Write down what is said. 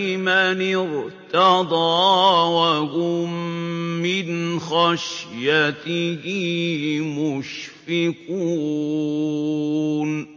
لِمَنِ ارْتَضَىٰ وَهُم مِّنْ خَشْيَتِهِ مُشْفِقُونَ